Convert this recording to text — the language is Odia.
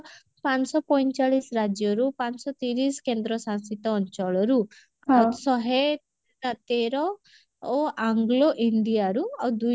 ପାଞ୍ଚଶହ ପଇଁଚାଳିଶ ରାଜ୍ୟରୁ ପାଞ୍ଚଶହ ତିରିଶ କେନ୍ଦ୍ରଶାସୀତ ଅଞ୍ଚଳରୁ ଶହେ ତେର ଆଉ anglo india ରୁ ଆଉ ଦୁଇ